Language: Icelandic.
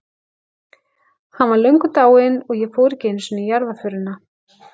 Hann var löngu dáinn- og ég fór ekki einu sinni í jarðarförina.